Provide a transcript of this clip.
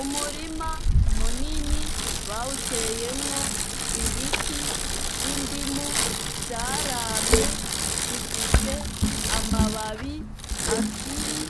Umurima munini bawuteyemwo ibiti vy'indimu, zaramye, zifise amababi akiri